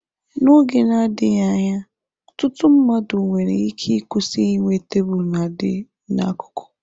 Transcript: N'oge na-adịghị anya, ọtụtụ mmadụ nwere ike ịkwụsị inwe tebụl nadị n'akụkụ.